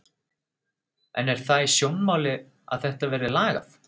En er það í sjónmáli að þetta verði lagað?